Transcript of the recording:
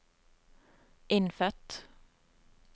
innfødt